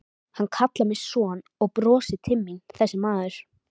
Hann kallar mig son og brosir til mín þessi maður.